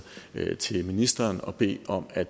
til ministeren og bede om at